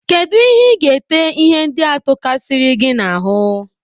Kedụ ihe iga-ete ihe ndị a tokasiri gị n'ahụ.?